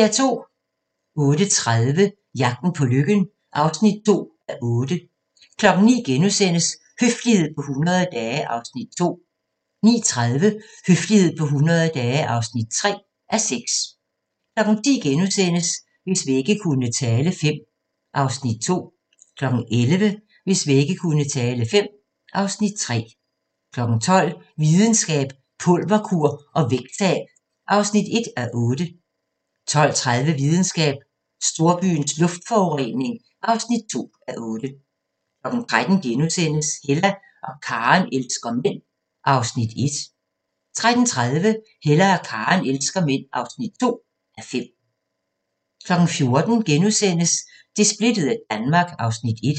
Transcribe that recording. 08:30: Jagten på lykken (2:8) 09:00: Høflighed på 100 dage (2:6)* 09:30: Høflighed på 100 dage (3:6) 10:00: Hvis vægge kunne tale V (Afs. 2)* 11:00: Hvis vægge kunne tale V (Afs. 3) 12:00: Videnskab: Pulverkur og vægttab (1:8) 12:30: Videnskab: Storbyens luftforurening (2:8) 13:00: Hella og Karen elsker mænd (1:5)* 13:30: Hella og Karen elsker mænd (2:5) 14:00: Det splittede Danmark (Afs. 1)*